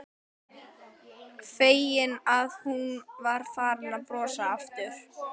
Feginn að hún var farin að brosa aftur.